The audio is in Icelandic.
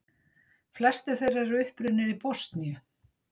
Flestir þeirra eru upprunnir í Bosníu